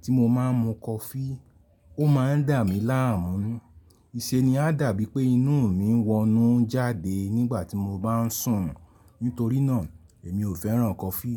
tí mo máa ń mu kọfí, ó máa ń dà mí láàmú. Íṣẹ́ ni a dàbí pé inú mi ń wọnú jáde nígbà tí mo bá ń sùn. Nítorí náà èmi ò fẹ́ràn kọfí.